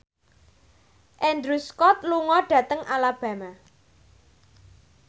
Andrew Scott lunga dhateng Alabama